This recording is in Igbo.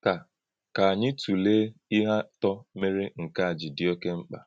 Kà Kà ànyí tụ́lèé íhè átọ̀ mèré nke a jì dì́ òké mkpa.